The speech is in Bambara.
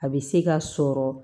A bɛ se ka sɔrɔ